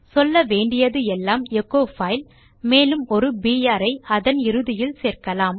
சொல்ல வேண்டியது எல்லாம் எச்சோ பைல் மேலும் ஒரு பிஆர் ஐ அதன் இறுதியில் சேர்க்கலாம்